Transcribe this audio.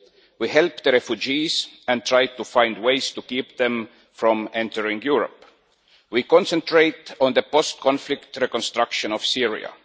we help the refugees and try to find ways to keep them from entering Europe we concentrate on the post conflict reconstruction of Syria.